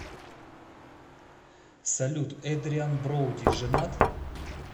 салют эдриан броуди женат